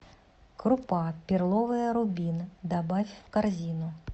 крупа перловая рубин добавь в корзину